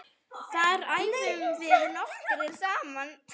Þar æfum við nokkrir saman.